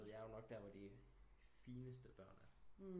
Jeg er jo nok der de fineste børn er